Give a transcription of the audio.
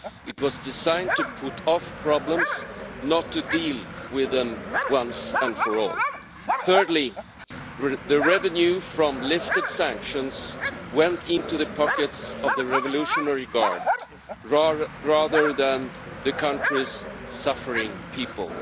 It was designed to put off problems, not to deal with them once and for all. Thirdly, the revenue from lifted sanctions went into the pockets of the revolutionary guard, rather than to the country's suffering people.